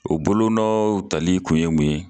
O bolonɔw tali kun ye mun ye?